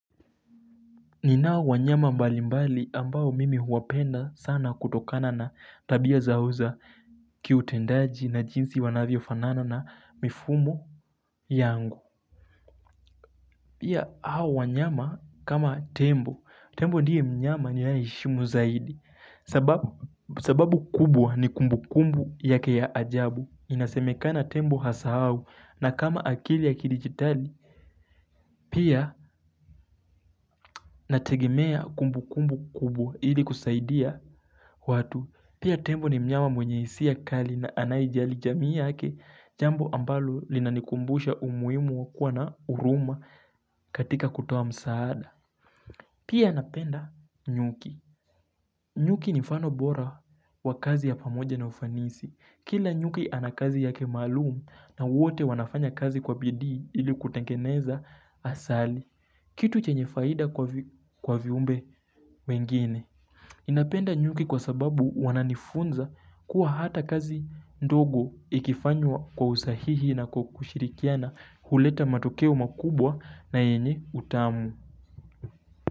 Ninao wanyama mbali mbali ambao mimi huwapenda sana kutokana na tabia zauza kiutendaji na jinsi wanavyo fanana na mifugo yangu Pia hao wanyama kama tembo, tembo ndiye mnyama ni yae heshimu zaidi, sababu kubwa ni kumbu kumbu yake ya ajabu, inasemekana tembo hasa au na kama akili ya kidigitali Pia nategemea kumbu kumbu kumbu ili kusaidia watu, pia tembo ni mnyama mwenyehisia ya kali na anayijali jamii yake, jambo ambalo linanikumbusha umuimu wakua na uruma katika kutoa msaada. Pia napenda nyuki. Nyuki nifano bora wa kazi ya pamoja na ufanisi. Kila nyuki anakazi yake malum na wote wanafanya kazi kwa bidii ili kutengeneza asali. Kitu chenyefaida kwa viumbe wengine. Inapenda nyuki kwa sababu wananifunza kuwa hata kazi ndogo ikifanywa kwa usahihi na kwa kushirikiana huleta matokeo makubwa na yenye utamu.